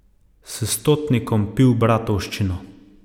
S stotnikom pil bratovščino.